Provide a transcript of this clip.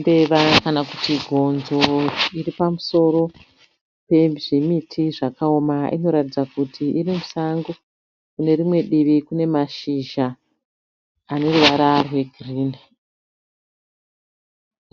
Mbeva kana kuti gonzo iri pamusoro pezvimiti zvakaoma. Inoratidza kuti iri musango. Kune rimwe divi kune mashizha ane ruvara rwegirini.